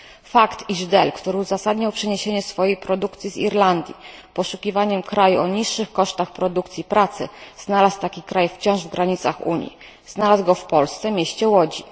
Fakt, iż Dell, który uzasadniał przeniesienie swojej produkcji z Irlandii poszukiwaniem kraju o niższych kosztach produkcji pracy, znalazł taki kraj wciąż w granicach Unii, znalazł go w Polsce, w mieście Łodzi.